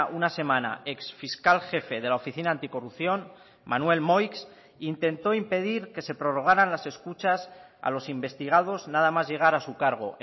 una semana ex fiscal jefe de la oficina anticorrupción manuel moix intentó impedir que se prorrogaran las escuchas a los investigados nada más llegar a su cargo